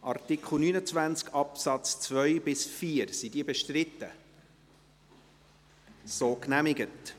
Art. 29 Abs. 2–4 / Art. 29, al. 2–4 Angenommen